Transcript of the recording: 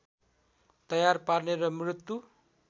तयार पार्ने र मृत्यु